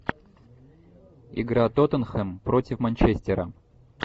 игра тоттенхэм против манчестера